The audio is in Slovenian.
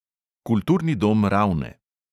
Kulturni dom ravne.